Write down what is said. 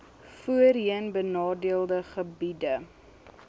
voorheen benadeelde gebiede